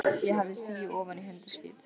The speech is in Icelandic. Ég hafði stigið ofan í hundaskít.